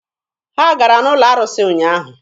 Ha gara n'ụlọ arụsị ụnyaahụ.